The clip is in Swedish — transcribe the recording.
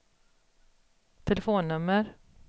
telefonnummer